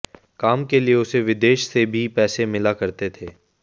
काम के लिए उसे विदेश से भी पैसे मिला करते थे